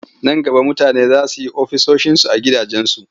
Nan gaba mutane za su yi ofisoshinsu a cikin gidansu.